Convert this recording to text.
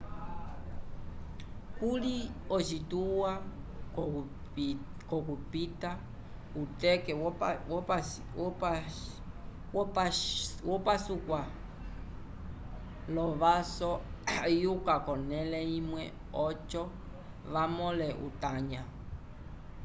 kuli ocituwa c'okupita uteke wopaskuwa l'ovaso ayukuka k'onẽle imwe oco vamõle utanya